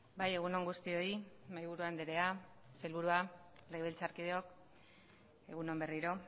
bai egun on guztioi mahaiburu andrea sailburua legebiltzarkideok egun on berriro